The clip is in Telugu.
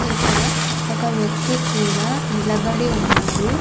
ఇక్కడ ఒక వ్యక్తి కూడా నిలబడి ఉన్నాడు.